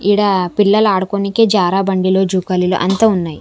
ఈడ పిల్లలు ఆడుకొనికే జారా బండిలో జూకలిలు అంతా ఉన్నాయి.